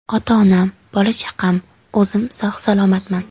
Ota-onam, bola-chaqam, o‘zim sog‘-salomatman.